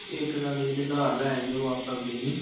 ਇੱਕ ਗੱਲ ਜਿਹੜੇ ਉਧਾਰ ਲੈ ਜਾਂਦੇ ਉਹ ਵਾਪਸ ਆਉਂਦੇ ਹੀ ਨੀ।